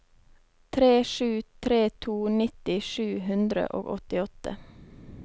tre sju tre to nitti sju hundre og åttiåtte